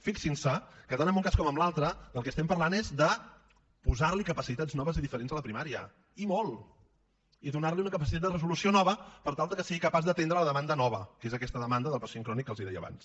fixin se que tant en un cas com en l’altre del que estem parlant és de posar li capacitats noves i diferents noves a la primària i molt i donar li una capacitat de resolució nova per tal que sigui capaç d’atendre la demanda nova que és aquesta demanda del pacient crònic que els deia abans